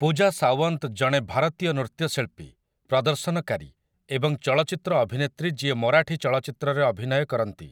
ପୂଜା ସାୱନ୍ତ ଜଣେ ଭାରତୀୟ ନୃତ୍ୟଶିଳ୍ପୀ, ପ୍ରଦର୍ଶନକାରୀ ଏବଂ ଚଳଚ୍ଚିତ୍ର ଅଭିନେତ୍ରୀ ଯିଏ ମରାଠୀ ଚଳଚ୍ଚିତ୍ରରେ ଅଭିନୟ କରନ୍ତି ।